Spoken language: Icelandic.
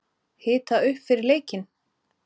Hita upp fyrir leikinn?